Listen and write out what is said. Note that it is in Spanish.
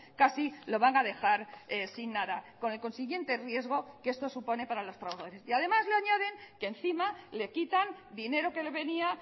casi lo van a dejar sin nada con el consiguiente riesgo que esto supone para los trabajadores y además le añaden que encima le quitan dinero que le venía